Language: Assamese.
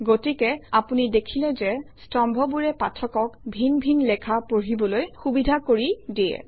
গতিকে আপুনি দেখিলে যে স্তম্ভবোৰে পাঠকক ভিন ভিন লেখা পঢ়িবলৈ সুবিধা কৰি দিয়ে